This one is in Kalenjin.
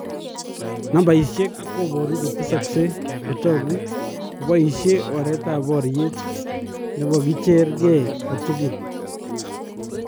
Nambayisyeek koboruu kotesakse kotookuu kobaisyee oreetab baryeet nebo kicheer kee kotukul .